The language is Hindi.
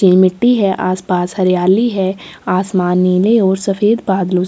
कच्ची मिट्टी है आस पास हरियाली है आसमान नीले और सफ़ेद बादलो स--